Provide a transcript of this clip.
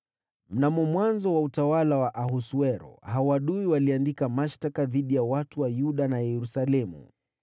Mnamo mwanzo wa utawala wa Ahasuero, hao adui waliandika mashtaka dhidi ya watu wa Yuda na Yerusalemu.